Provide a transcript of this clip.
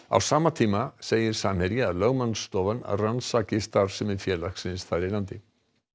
á sama tíma segir Samherji að lögmannsstofan rannsaki starfsemi félagsins þar í landi